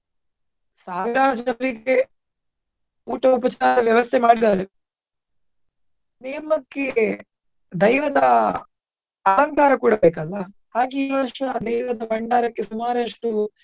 ಊಟ ಉಪಚಾರದ ವ್ಯವಸ್ಥೆ ಮಾಡಿದ್ದಾರೆ. ನೇಮ ಕ್ಕೆ ದೈವದ ಅಲಂಕಾರ ಕೂಡ ಬೇಕಲ್ಲಾ ಹಾಗೆ ಈ ವರ್ಷ ದೈವದ ಬಂಡಾರಕ್ಕೆ ಸುಮಾರಷ್ಟು.